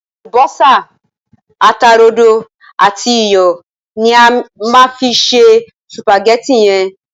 Àlùbọ́sá, ata rodo àti iyọ̀ ni a má fi se sùpàgétì yẹn.